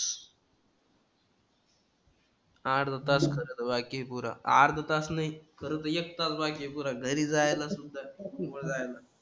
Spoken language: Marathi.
अर्धा तास खरंतर आहे की पुरा. अर्धा तास नाही खरंतर एक तास पाहिजे पुरा घरी जायलासुद्धा किंवा जायला.